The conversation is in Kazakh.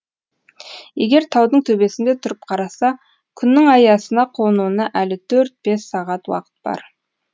егер таудың төбесінде тұрып қараса күннің аясына қонуына әлі төрт бес сағат уақыт бар